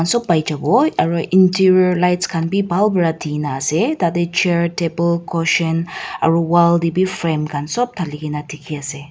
sop paijawo aro interior lights khan bibhal pa dinaase tate chair table cotion aro wall tabi frame khan sop thali kaena dikhiase.